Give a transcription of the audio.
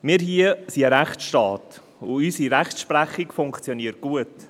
Wir hier sind ein Rechtsstaat, und unsere Rechtsprechung funktioniert gut.